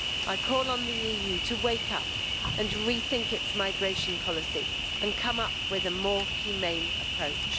I call on the EU to wake up and rethink its migration policy and come up with a more humane approach.